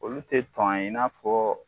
Olu te tɔn ye, i n'a fɔ